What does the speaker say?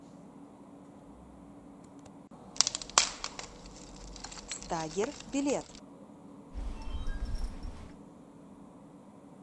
стагер билет